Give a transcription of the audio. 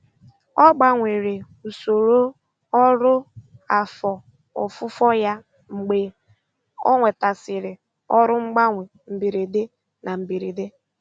Ọ gbanwere usoro ọrụ afọ ofufo ya mgbe ọ nwetasịrị ọrụ mgbanwe mberede na mberede.